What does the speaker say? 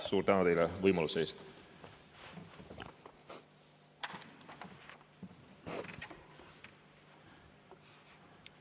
Suur tänu teile võimaluse eest!